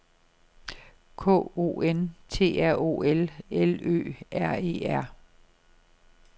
K O N T R O L L Ø R E R